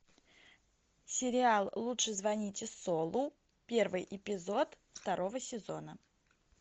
сериал лучше звоните солу первый эпизод второго сезона